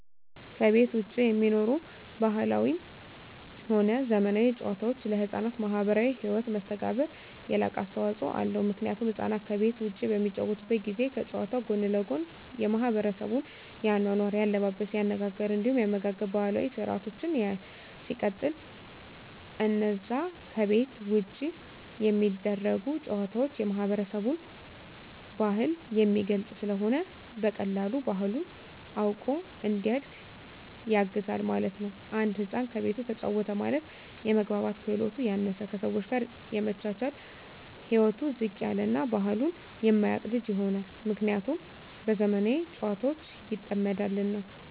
ከቤት ዉጪ የሚኖሩ ባህላዊም ሆነ ዘመናዊ ጨዋታወች ለሕፃናት ማህበራዊ ህይወት መስተጋብር የላቀ አስተዋጾ አለዉ ምክንያቱም ህፃናት ከቤት ዉጪ በሚጫወቱበት ጊዜ ከጨዋታዉ ጎን ለጎን የማሕበረሰቡን የአኗኗር፣ የአለባበስ፤ የአነጋገር እንዲሁም የአመጋገብ ባህላዊ ስርአቶችን ያያል። ሲቀጥል አነዛ ከቤት ዉጪ የሚደረጉ ጨዋታወች የማህበረሰብን ባህል የሚገልጽ ስለሆነ በቀላሉ ባህሉን አዉቆ እንዲያድግ ያግዘዋል ማለት ነዉ። አንድ ህፃን ከቤቱ ተጫወተ ማለት የመግባባት ክህሎቱ ያነሰ፣ ከሰወች ጋር የመቻቻል ህይወቱ ዝቅ ያለ እና ባህሉን የማያቅ ልጅ ይሆናል። ምክንያቱም በዘመናዊ ጨዋታወች ይጠመዳልና።